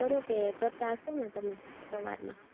કરો કે કરતા હય્શો ને તમે તમારું